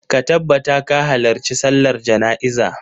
Ka tabbata ka halarci sallar jana'iza!